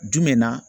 Jumɛn na